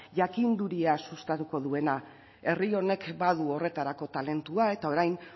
jakinduria sustatuko duena herri honek badu horretarako talentua eta orain